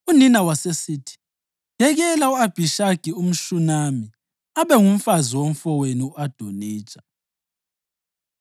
Unina wasesithi, “Yekela u-Abhishagi umShunami abe ngumfazi womfowenu u-Adonija.”